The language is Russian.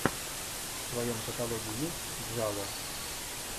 в твоем каталоге есть джало